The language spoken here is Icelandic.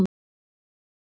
En ég fæ það ekki af mér.